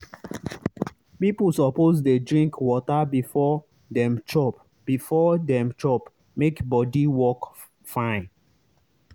people suppose dey drink water before dem chop before dem chop make body work fine.